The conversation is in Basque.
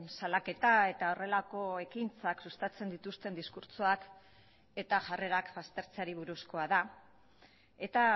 salaketa eta horrelako ekintzak sustatzen dituzten diskurtsoak eta jarrerak aztertzeari buruzkoa da eta